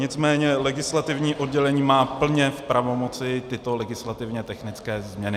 Nicméně legislativní oddělení má plně v pravomoci tyto legislativně technické změny.